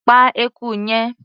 Pa eku yẹn!.